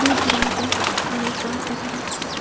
দূর দূরান্তে অনেক গাস দেখা যাচ্ছে।